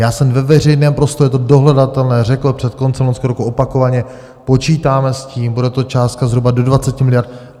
Já jsem ve veřejném prostoru, je to dohledatelné, řekl před koncem loňského roku opakovaně, počítáme s tím, bude to částka zhruba do 20 miliard.